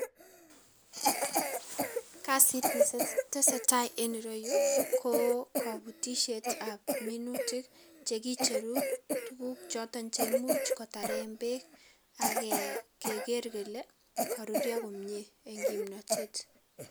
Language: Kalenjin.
Kasit nesese netesetai en ireyu kokobutisietab minutik chekicheru tugukchoton cheimuch kotaren beek ake keker kele korurio komie en kimnotet.